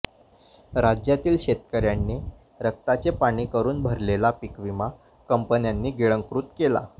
राज्यातील शेतकऱ्यांनी रक्ताचे पाणी करून भरलेला पीकविमा कंपन्यांनी गिळंकृत केला